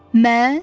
Mən?